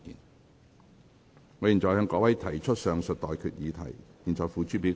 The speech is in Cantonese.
我現在向各位提出上述待決議題，付諸表決。